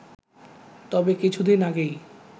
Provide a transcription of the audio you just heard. তবে কিছুদিন আগেই